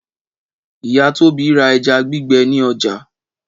Ìyá Tóbi ra ẹja gbígbẹ ní ọjà.